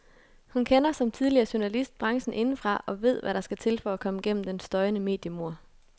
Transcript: Hun kender, som tidligere journalist, branchen indefra og ved hvad der skal til for at komme gennem den støjende mediemur.